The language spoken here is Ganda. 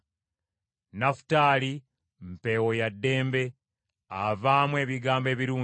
Nafutaali mpeewo ya ddembe, avaamu ebigambo ebirungi.